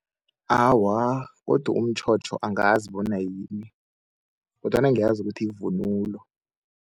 Awa, godu umtjhotjho angazi bona yini kodwana ngiyazi ukuthi yivunulo.